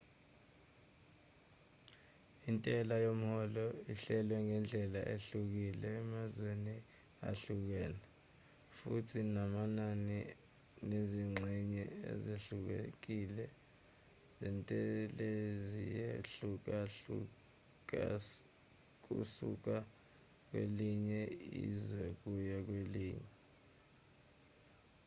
intela yomholo ihlelwe ngendlela ehlukile emazweni ahlukene futhi namanani nezingxenye ezehlukile zentelaziyehlukahlukakusuka kwelinye izwe kuya kwelinye